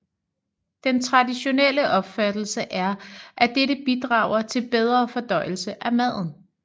Den traditionelle opfattelse er at dette bidrager til bedre fordøjelse af maden